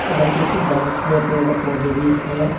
और कुछ बहुत से पेड़ पौधे भी है।